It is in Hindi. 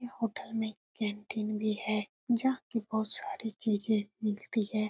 यह होटल में कैन्टीन भी है जहाँ कि बहुत सारी चीजें मिलती हैं।